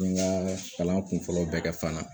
N ye n ka kalan kunfɔlɔw bɛɛ kɛ fana